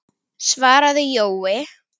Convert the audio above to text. svaraði Jói.